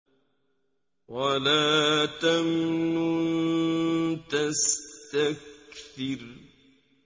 وَلَا تَمْنُن تَسْتَكْثِرُ